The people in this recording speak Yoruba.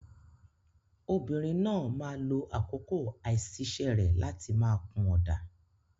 Obìnrin náà máa lo àkókò àìsiṣẹ́ rẹ̀ láti máa kun ọ̀dà.